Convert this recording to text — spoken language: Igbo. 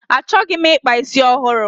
Achọghị m ịkpa isi ọhụrụ.